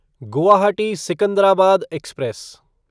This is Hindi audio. गुवाहाटी सिकंदराबाद एक्सप्रेस